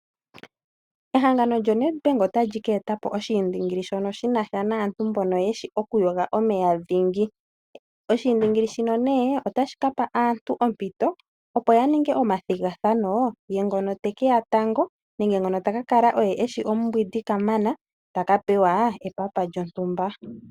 Ehangano lyo NEDBANK otali ka eta po oshiindingili shono shina sha naantu mbono yeshi oku yoga omeya dhingi. Oshiindingili shino nee, otashi ka pa aantu ompito opo ya ninge omathigathano, ye ngono te keya tango ,nenge ngono ta ka kala oye eshi omumbwindi ka mana ,taka pewa epapa lyontumba .